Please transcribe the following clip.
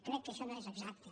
crec que això no és exacte